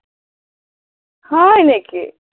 হয় নিকি?